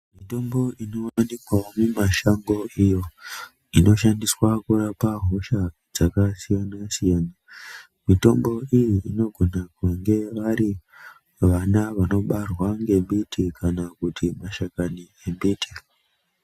Mitombo inowanikwavo mimashango iyo inoshandiswa kurapa hosha dzakasiyana siyana. Mitombo iyi inogona kunge vari vana vanobarwa ngembiti kana kuti mashakani embiti.